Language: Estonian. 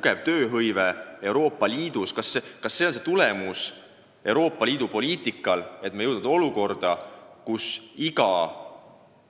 Kas see on Euroopa Liidu poliitika suurepärane tulemus, et me oleme jõudnud olukorda, kus iga